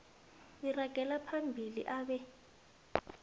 uragela phambili abe